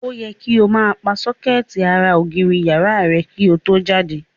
Ó yẹ ko máa pa sókẹ́ẹ̀tì ara ògiri ìyàrá rẹ ko tó jáde.